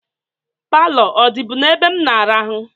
Pilo ọ dịbu n'ebe m n'arahụ?